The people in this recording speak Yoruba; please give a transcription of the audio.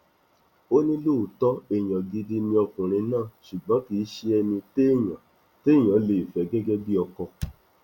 ó ní lóòótọ èèyàn gidi ni ọkùnrin náà ṣùgbọn kì í ṣe ẹni téèyàn téèyàn lè fẹ gẹgẹ bíi ọkọ